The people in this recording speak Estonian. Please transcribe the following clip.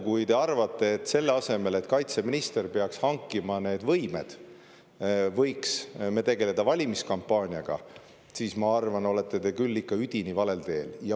Kui teie arvate, et selle asemel, et kaitseminister peaks hankima need võimed, võiks me tegeleda valimiskampaaniaga, siis mina arvan, et te olete küll ikka üdini valel teel.